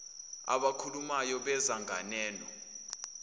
abakhulumayo beza nganeno